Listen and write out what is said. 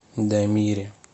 дамире